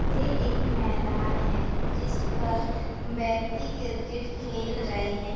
ये एक मैदान है जिसपर व्यक्ति क्रिकेट खेल रहे हैं।